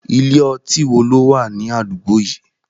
Ilé ọtí wo ló wà ní àdúgbò yìí?